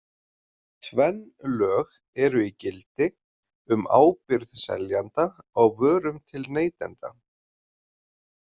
Tvenn lög eru í gildi um ábyrgð seljanda á vörum til neytenda.